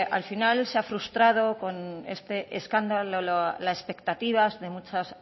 al final se ha frustrado con este escándalo la expectativa de muchos